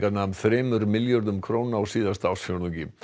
nam þremur milljörðum á síðasta ársfjórðungi